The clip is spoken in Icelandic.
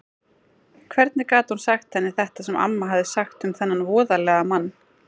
Hvernig gat hún sagt henni þetta sem amma hafði sagt um þennan voðalega mann?